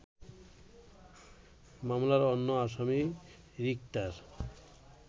মামলার অন্য আসামী রিক্তার